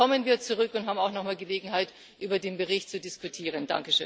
Dann kommen wir zurück und haben auch noch mal Gelegenheit, über den Bericht zu diskutieren.